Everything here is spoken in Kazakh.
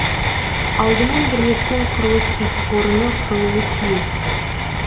алдымен бірлескен құрылыс кәсіпорыны құрылуы тиіс